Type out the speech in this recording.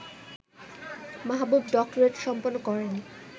মাহবুব doctorate সম্পন্ন করেন